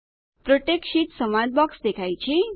protect sheet સંવાદ box દેખાય છે